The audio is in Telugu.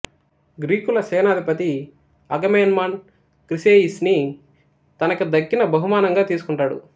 గ్రీకుల సేనాధిపతి అగమేమ్నాన్ క్రిసేయిస్ ని తనకి దక్కిన బహుమానంగా తీసుకుంటాడు